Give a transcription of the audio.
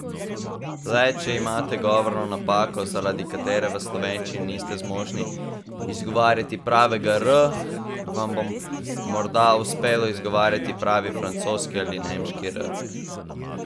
Le če imate govorno napako, zaradi katere v slovenščini niste zmožni izgovarjati pravega r, vam bo morda uspelo izgovarjati pravi francoski ali nemški r.